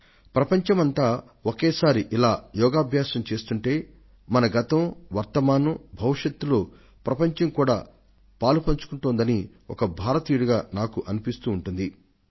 ఒక భారతీయుడిగా మొత్తం ప్రపంచం యోగా ద్వారా ఒక్కటిగా నిలవడాన్ని మనం చూస్తున్నప్పుడు ప్రపంచమంతా మన భూత వర్తమాన భవిష్యత్తులతో బంధాన్ని ఏర్పరచుకొంటోందన్న సంగతిని మనం గ్రహిస్తాం